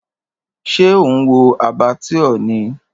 Ṣé ò ń wo Abattoir ni?